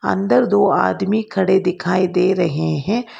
अंदर दो आदमी खड़े दिखाई दे रहे हैं।